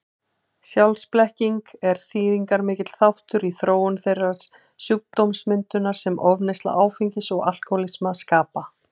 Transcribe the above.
Sjálfsblekkingin er þýðingarmikill þáttur í þróun þeirrar sjúkdómsmyndar sem ofneysla áfengis og alkohólismi skapa.